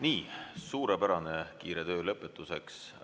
Nii, suurepärane kiire töö lõpetuseks!